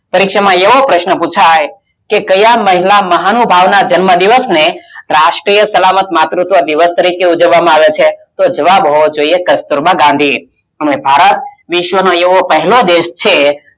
આપણા પરીક્ષા માં એવો પ્રશ્ન પુછાઈ ક્યાં મહિલા મનુભાવી ના જન્મ દિવસ ને રાષ્ટિય સલાહમત માતુત્વ દિવસ તરીકે ઉજવવામાં આવે છે? તો જવાબ હોવો જોઈએ કસ્તુરબા ગાંધી અને ભારત વિશ્વ નો એવો પહેલો દેશ છે